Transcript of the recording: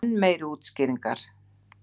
Enn meiri útskýringar.